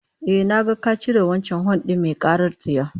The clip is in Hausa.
Ehh, na ga ka cire wancan hon din mai karar tsiya